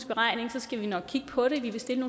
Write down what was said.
beregning skal vi nok kigge på det vi vil stille